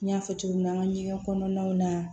N y'a fɔ cogo min na an ka ɲɛgɛn kɔnɔnaw na